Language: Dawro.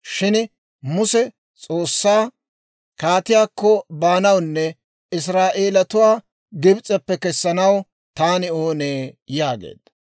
Shin Muse S'oossaa, «Kaatiyaakko baanawunne Israa'eelatuwaa Gibs'eppe kessanaw taani oonee?» yaageedda.